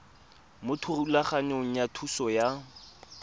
mo thulaganyong ya thuso y